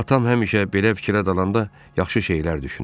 Atam həmişə belə fikrə dalanda yaxşı şeylər düşünür.